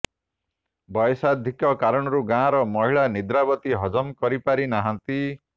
ବୟସାଧିକ୍ୟ କାରଣରୁ ଗାଁର ମହିଳା ନିଦ୍ରାବତୀ ହଜମ କରି ପାରି ନାହାନ୍ତି